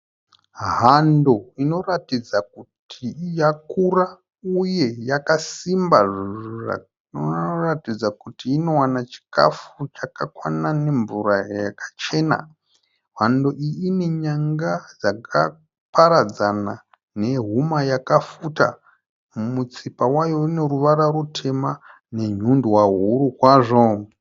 Hando inoratidza kuti yakura uye yakasimba zvinoratidza kuti inowana chikafu chakakwana nemvura yakachena. Hando iyi ine nyanga dzakaparadzana nehuma yakafuta, mutsipa wayo une ruvara rutema nenyundwa huru kwazvo.